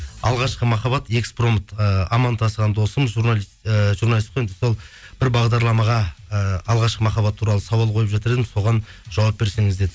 алғашқы махаббат экспромт ыыы аман тасыған досым журналист ыыы журналист қой енді сол бір бағдарламаға ыыы алғашқы махаббат туралы сауал қойып жатыр едім соған жауап берсеңіз деді